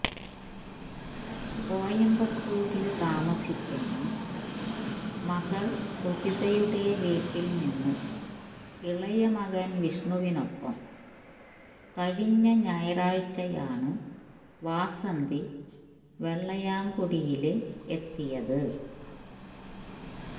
കോയന്പത്തൂരില് താമസിക്കുന്ന മകള് സുജിതയുടെ വീട്ടില്നിന്ന് ഇളയമകന് വിഷ്ണുവിനൊപ്പം കഴിഞ്ഞ ഞായറാഴ്ചയാണു വാസന്തി വെള്ളയാംകുടിയില് എത്തിയത്